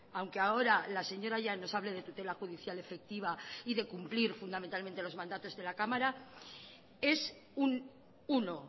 aunque ahora la señora llanos hable de tutela judicial efectiva y de cumplir fundamentalmente los mandatos de la cámara es un uno